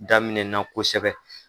Daminɛna kosɛbɛ